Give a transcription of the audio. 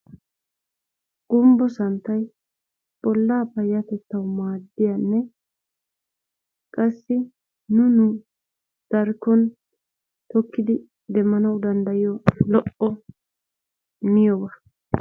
Gumbbo santtay bollaa payatettawu maaddiyanne qassi nu nu darkkon tokkidi demmanawu danddayiyo lo'o miyoba.